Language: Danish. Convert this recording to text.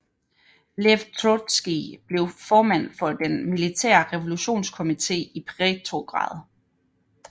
Lev Trotskij blev formand for den militære revolutionskomite i Petrograd